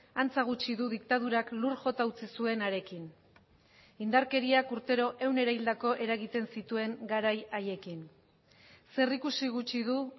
antza gutxi du diktadurak lur jota utzi zuenarekin indarkeriak urtero ehun erahildako eragiten zituen garai haiekin zer ikusi gutxi du